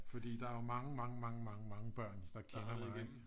Fordi der er jo mange mange mange mange mange børn der kender mig